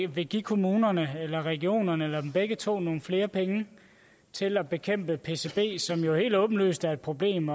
vil give kommunerne eller regionerne eller dem begge to nogle flere penge til at bekæmpe pcb som jo helt åbenlyst er et problem